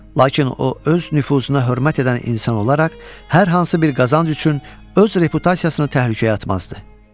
Lakin o öz nüfuzuna hörmət edən insan olaraq hər hansı bir qazanc üçün öz reputasiyasını təhlükəyə atmazdı.